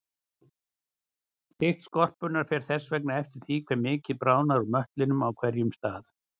Þykkt skorpunnar fer þess vegna eftir því hve mikið bráðnar úr möttlinum á hverjum stað.